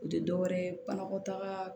U tɛ dɔ wɛrɛ ye banakɔtaga